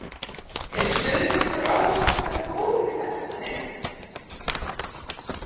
Er stuðningur áhorfenda góður í Vestmannaeyjum?